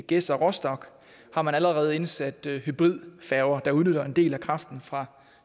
gedser rostock allerede indsat hybridfærger der udnytter en del af kraften fra